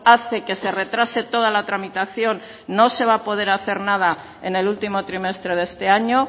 hace que se retrase toda la tramitación no se va a poder hacer nada en el último trimestre de este año